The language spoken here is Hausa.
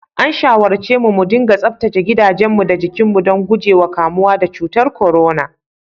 An shawarce mudiga tsaftace gidajenmu da jikinmu don guje wa kamuwa da cutar corona.